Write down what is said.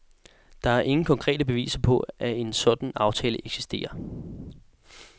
Der er ingen konkrete beviser på, at en sådan aftale eksisterer.